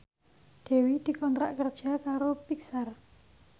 Dewi dikontrak kerja karo Pixar